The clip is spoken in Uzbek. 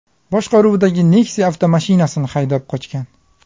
boshqaruvidagi Nexia avtomashinasini haydab qochgan.